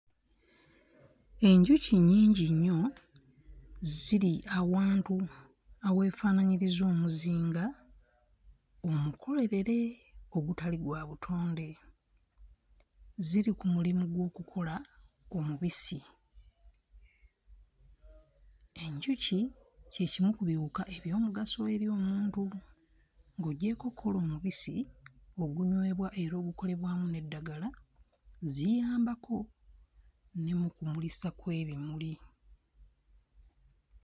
Enjuki nnyingi nnyo ziri awantu aweefaanaanyiriza omuzinga omukolerere ogutali gwa butonde, ziri ku mulimu gw'okukola omubisi. Enjuki kye kimu ku biwuka eby'omugaso eri omuntu. Ng'oggyeeko okkola omubisi ogunywebwa era ogukolebwamu n'eddagala, ziyambako ne mu kumulisa kw'ebimuli.